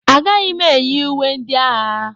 Agaghị m eyi uwe ndị agha.